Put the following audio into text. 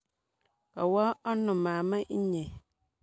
Kawo ano mama inye?